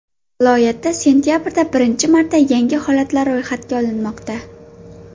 Viloyatda sentabrda birinchi marta yangi holatlar ro‘yxatga olinmoqda.